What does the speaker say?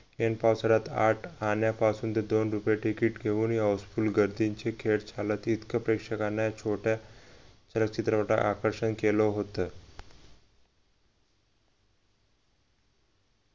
ऐन पावसाळ्यात आठ आण्यापासून तर दोन रुपये तिकीट घेऊन ही houseful गर्दींची खेळ चालतील इतकं प्रेक्षकांनी छोट्या चित्रपटाने आकर्षण केलं होत